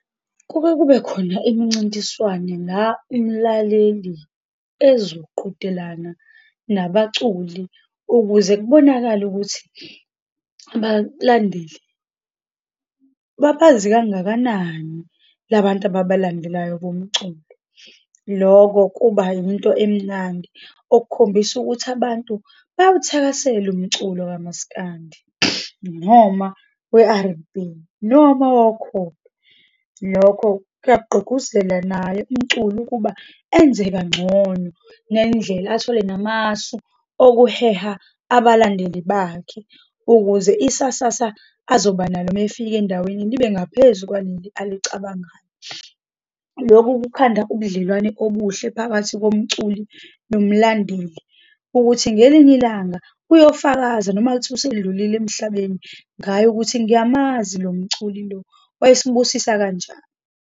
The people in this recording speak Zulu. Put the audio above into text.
Kuke kube khona imncintiswano la umlaleli ezoqhudelana nabaculi, ukuze kubonakale ukuthi bakulandeli babazi kangakanani labantu ababalandelayo bomculo. Loko kuba into emnandi, okukhombisa ukuthi abantu bawuthakasela umculo kamasikandi, noma we-R_N_B, noma wokholo. Lokho kuyak'gqugquzela naye umculi ukuba enze kangcono, nendlela athole namasu okuheha abalandeli bakhe ukuze isasasa azoba nalo uma efika endaweni libe ngaphezu kwaleli olicabangayo. Lokhu kukhanda ubudlelwane obuhle phakathi komculi nomlandeli, ukuthi ngelinye ilanga uyofakaza, noma kuthiwa usedlulile emhlabeni, ngaye, ukuthi ngiyamazi lo mculi lo, wayesibusisa kanjani.